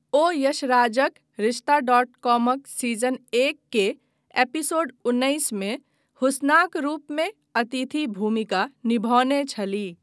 ओ यशराजक रिश्ताडॉटकॉमक सीजन एक के एपिसोड उन्नैसमे हुस्नाक रूपमे अतिथि भूमिका निभौने छलीह।